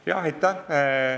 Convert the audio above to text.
Aitäh!